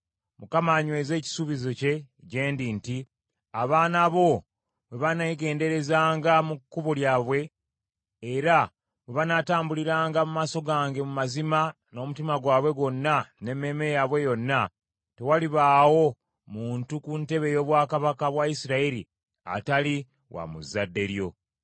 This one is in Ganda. Mukama anyweze ekisuubizo kye gye ndi nti, ‘Abaana bo bwe baneegenderezanga mu kkubo lyabwe, era bwe banaatambuliranga mu maaso gange mu mazima n’omutima gwabwe gwonna n’emmeeme yaabwe yonna, tewalibaawo muntu ku ntebe ey’obwakabaka bwa Isirayiri atali wa mu zzadde lyo.’